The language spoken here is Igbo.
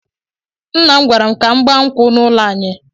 Nna m gwara m ka m gbaa nkwụ na ụlọ anyị.